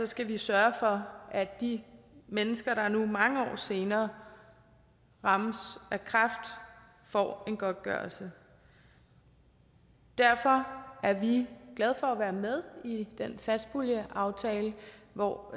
skal vi sørge for at de mennesker der nu mange år senere rammes af kræft får en godtgørelse derfor er vi glade for at være med i den satspuljeaftale hvor